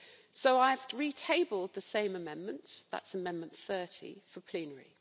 So I have re tabled the same amendment that's Amendment 30 for plenary.